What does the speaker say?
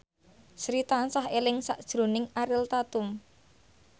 Sri tansah eling sakjroning Ariel Tatum